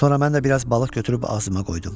Sonra mən də biraz balıq götürüb ağzıma qoydum.